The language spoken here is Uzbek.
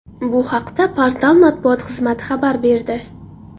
Bu haqda portal matbuot xizmati xabar berdi .